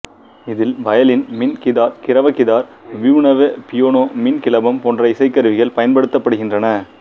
இதில் வயலின் மின் கிதார் கிரவ கிதார் விபுணவி பியானோ மின் கிளபம் போன்ற இசைக்கருவிகள் பயன்படுத்தப்படுகின்றன